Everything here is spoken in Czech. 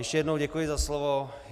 Ještě jednou děkuji za slovo.